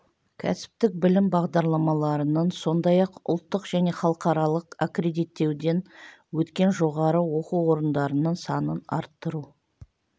кәсіптік білім бағдарламаларының сондай-ақ ұлттық және халықаралық аккредиттеуден өткен жоғары оқу орындарының санын арттыру